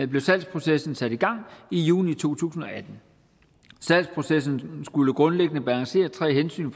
blev salgsprocessen sat i gang i juni to tusind og atten salgsprocessen skulle grundlæggende balancere tre hensyn